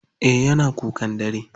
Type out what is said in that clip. Eh yana kukan dare.